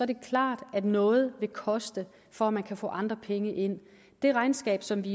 det klart at noget vil koste for at man kan få andre penge ind det regnskab som vi